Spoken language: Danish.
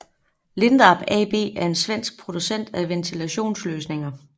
Lindab AB er en svensk producent af ventilationsløsninger